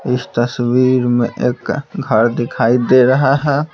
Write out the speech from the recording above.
इस तस्वीर में एक घर दिखाई दे रहा है।